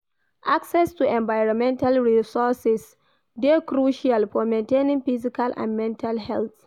Access to environmental resourses dey crucial for maintaining physical and mental health.